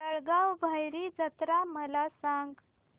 जळगाव भैरी जत्रा मला सांग